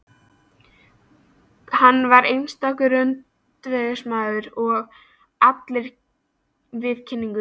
Hann var einstakur öndvegismaður í allri viðkynningu.